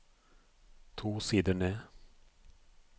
To sider ned